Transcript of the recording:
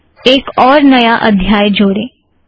आओ एक और नया अध्याय जोड़ें